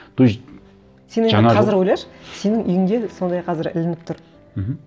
то есть сен енді қазір ойлашы сенің үйіңде сондай қазір ілініп тұр мхм